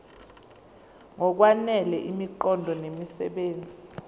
ngokwanele imiqondo nemisebenzi